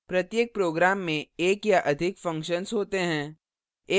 प्रत्येक program में एक या अधिक functions होते हैं